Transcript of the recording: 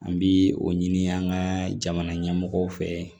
An bi o ɲini an ka jamana ɲɛmɔgɔ fɛ